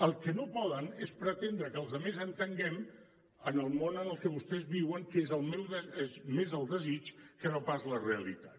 el que no poden és pretendre que els altres entenguem en el món en el que vostès viuen que és més el desig que no pas la realitat